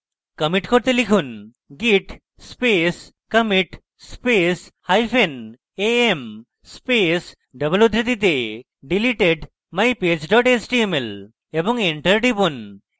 commit করতে লিখুন: git space commit space hyphen am space double উদ্ধৃতিতে deleted mypage html এবং enter টিপুন